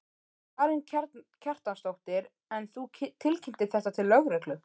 Karen Kjartansdóttir: En þú tilkynntir þetta til lögreglu?